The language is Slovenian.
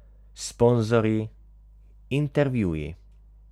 Sponzorji, intervjuji ...